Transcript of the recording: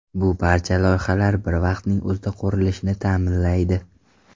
Bu barcha loyihalar bir vaqtning o‘zida qurilishini ta’minlaydi.